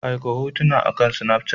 Aika hotuna akan Snafchat.